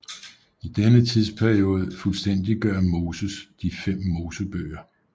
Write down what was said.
I denne tidsperiode fuldstændiggør Moses de fem Mosebøger